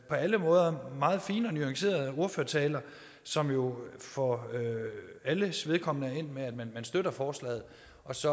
alle måder meget fine og nuancerede ordførertaler som jo for alles vedkommende er endt med at man støtter forslaget og så